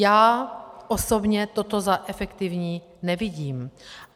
Já osobně toto za efektivní nevidím.